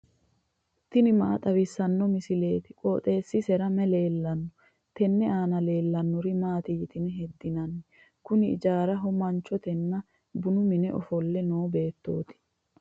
tini maa xawissanno misileeti? qooxeessisera may leellanno? tenne aana leellannori maati yitine heddinanni? kuni ijaaraho manchotenna bunu mine ofolle noo beettooti.